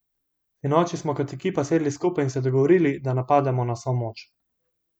Sinoči smo kot ekipa sedli skupaj in se dogovorili, da napademo na vso moč.